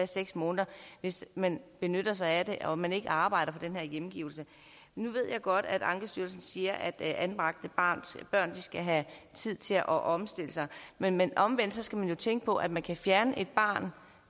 seks måneder hvis man benytter sig af den og man ikke arbejder på den her hjemgivelse nu ved jeg godt at ankestyrelsen siger at anbragte børn skal have tid til at omstille sig men omvendt skal man jo tænke på at man kan fjerne et barn